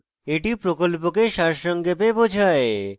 এটি প্রকল্পকে সারসংক্ষেপে বোঝায়